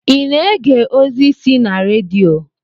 I na-ege ozi si na redio?